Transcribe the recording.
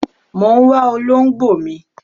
Mọ ń wá olóǹgbò mi.